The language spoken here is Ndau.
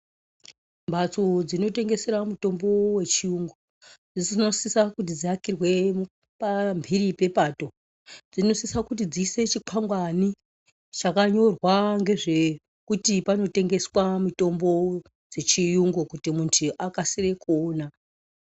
Mbatso dzinotengesera mutombo wechiyungu dzinosisa kuti dziakirwe pampiri pepato, dzinosisa kuti dziise chikwangwani chakanyorwa ngezvekuti panotengeswa mitombo dzechiyungu kuti muntu akasire kuona.